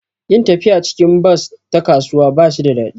Yin tafiya cikin bas ta kasuwa ba shi da daɗi